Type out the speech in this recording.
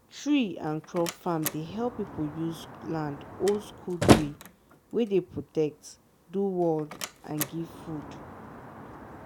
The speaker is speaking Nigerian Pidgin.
tree and crop farm dey help people use land old-school way wey dey protect do world and give food.